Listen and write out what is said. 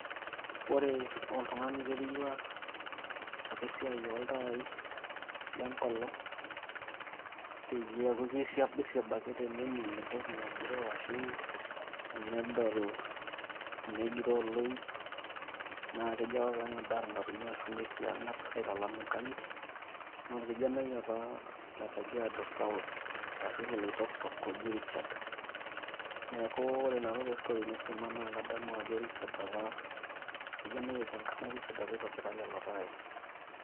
Ore oltung'ani oiterua apa esiai oltaai le enkolong' peyie eeku ekirriabirriab ake tenening' entoki nagira agiroo ashu enedol enegiroo oloip, naa kejo apa peyie eng'adaa irng'atunyio arashu ng'uesi e ang'ata aitalam inkang'itie naa orkijanai apa le Kajaido South arashu le Oloitokitok oji Ricahrd. Neeku ore nanu te story naisuma naa kadamu ajo Richard apa oitobira lelo taai.